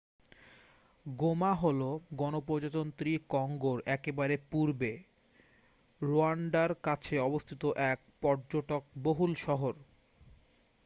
গোমা হল গণপ্রজাতন্ত্রী কঙ্গোর একেবারে পূর্বে রোয়ান্ডার কাছে অবস্থিত এক পর্যটক-বহুল শহর